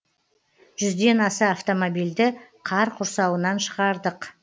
жүзден аса автомобильді қар құрсауынан шығардық